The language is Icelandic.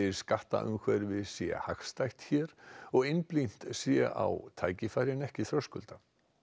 skattaumhverfi sé hagstætt hér og einblínt sé á tækifæri en ekki þröskulda